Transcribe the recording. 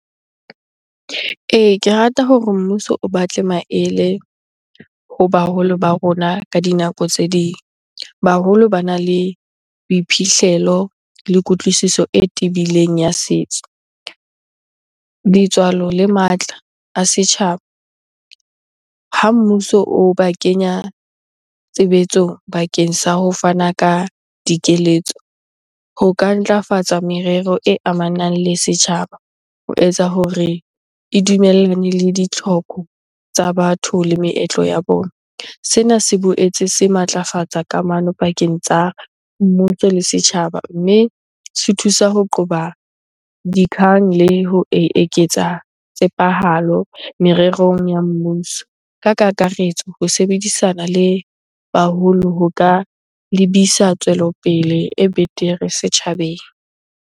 Ee, ke rata hore mmuso o batle maele ho baholo ba rona ka dinako tse ding. Baholo bana le boiphihlelo le kutlwisiso e tebileng ya setso, letswalo le matla a setjhaba. Ha mmuso o ba kenya tshebetsong bakeng sa ho fana ka dikeletso, ho ka ntlafatsa merero e amanang le setjhaba ho etsa hore e dumellane le ditlhoko tsa batho le meetlo ya bona. Sena se boetse se matlafatsa kamano pakeng tsa mmuso le setjhaba mme se thusa ho qoba di le ho eketsa tshepahalo mererong ya mmuso. Ka kakaretso, ho sebedisana le baholo ho ka lebisa tswelopele e betere setjhabeng.